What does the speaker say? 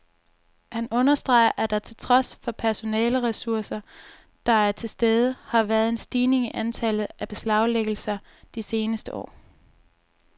Han understreger, at der trods de personaleresurser, der er til stede, har været en stigning i antallet af beslaglæggelser de seneste år.